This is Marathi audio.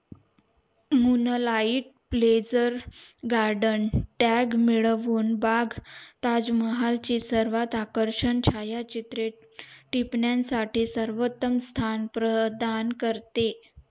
moon light blazer garden tag बाग ताज महाल ची सर्वात आकर्षक छाया चित्रे टिपण्या साठी सर्वंतम स्थान प्रधान करते